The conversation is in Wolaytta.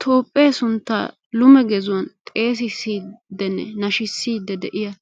Toophphee sunttaa lume gezuwan xeessissiddinne nashissidi de'iya